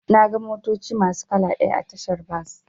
Naga motoci masu kala ɗaya a tashar bas.